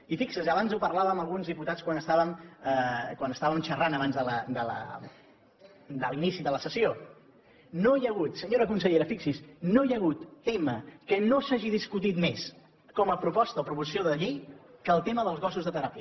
i fixi s’hi abans en parlàvem amb alguns diputats quan estàvem xerrant abans de l’inici de la sessió no hi ha hagut senyora consellera fixi s’hi no hi ha hagut tema que no s’hagi discutit més com a proposta o proposició de llei que el tema dels gossos de teràpia